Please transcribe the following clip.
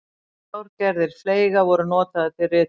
þrjár gerðir fleyga voru notaðar til ritunar